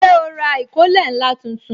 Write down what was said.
Ṣé o ra ìkó ilẹ̀ ńlá tuntun